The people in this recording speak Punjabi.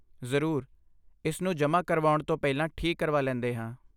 ਜ਼ਰੂਰ, ਇਸ ਨੂੰ ਜਮਾਂ ਕਰਵਾਉਣ ਤੋਂ ਪਹਿਲਾਂ ਠੀਕ ਕਰਵਾ ਲੈਂਦੇ ਹਾਂ